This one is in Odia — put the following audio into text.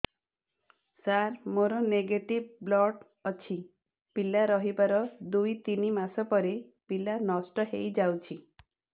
ସାର ମୋର ନେଗେଟିଭ ବ୍ଲଡ଼ ଅଛି ପିଲା ରହିବାର ଦୁଇ ତିନି ମାସ ପରେ ପିଲା ନଷ୍ଟ ହେଇ ଯାଉଛି